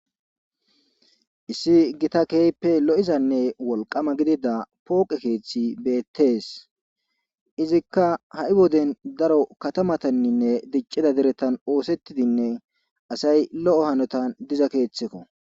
Issi gita keehippe lo'izanne wolqqama gidida pooqe keeththi beettees izikka ha'i woden daro katamatanninne diccida deretan oosettidinne asay lo'o hanotan diza keeththekko